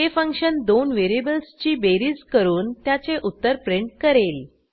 हे फंक्शन 2 व्हेरिएबल्सची बेरीज करून त्याचे उत्तर प्रिंट करेल